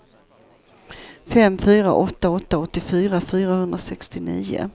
fem fyra åtta åtta åttiofyra fyrahundrasextionio